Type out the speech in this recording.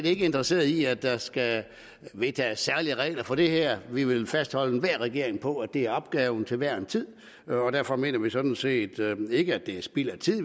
ikke interesseret i at der skal vedtages særlige regler for det her vi vil fastholde enhver regering på at det er opgaven til hver en tid og derfor mener vi sådan set ikke at det er spild af tid at